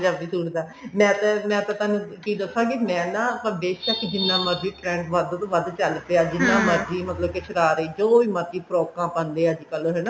Punjabi suit ਦਾ ਮੈਂ ਤਾਂ ਤੁਹਾਨੂੰ ਕਿ ਦੱਸਾਂ ਕਿ ਮੈਂ ਨਾ ਪਰ ਬੇਸ਼ਕ ਜਿੰਨਾ ਮਰਜੀ trend ਵੱਧ ਤੋਂ ਵੱਧ ਚੱਲ ਪਿਆ ਜਿੰਨਾ ਮਰਜੀ ਮਤਲਬ ਕਿ ਸ਼ਰਾਰੇ ਜੋ ਮਰਜੀ ਫ੍ਰੋਕਾ ਪਾਂਦੇ ਆ ਅੱਜਕਲ